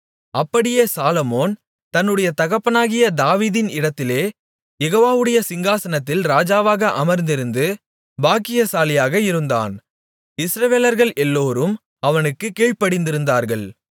அப்படியே சாலொமோன் தன்னுடைய தகப்பனாகிய தாவீதின் இடத்திலே யெகோவாவுடைய சிங்காசனத்தில் ராஜாவாக அமர்ந்திருந்து பாக்கியசாலியாக இருந்தான் இஸ்ரவேலர்கள் எல்லோரும் அவனுக்குக் கீழ்ப்படிந்திருந்தார்கள்